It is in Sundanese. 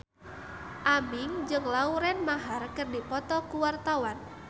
Aming jeung Lauren Maher keur dipoto ku wartawan